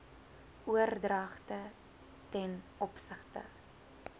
oordragte t o